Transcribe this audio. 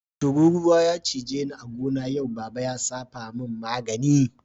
Tururuwa ya cije ni yau a'gona, baba na ya safa mun magani.